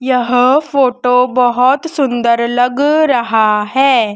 यह फोटो बहुत सुंदर लग रहा है।